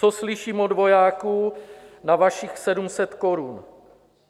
Co slyším od vojáků na vašich 700 korun?